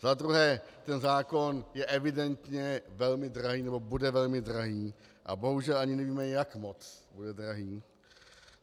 Za druhé, ten zákon je evidentně velmi drahý, nebo bude velmi drahý, a bohužel ani nevíme, jak moc bude drahý.